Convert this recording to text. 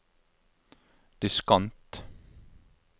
diskant